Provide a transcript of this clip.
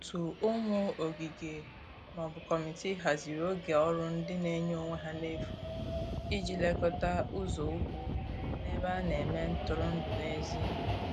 ótu ụmụ ogige/ Kọmitịị hazịrị oge ọrụ ndi n'enye onwe ha n'efu ịji lekota ụzo ụkwụ n'ebe ana eme ntụrụndụ n'ezi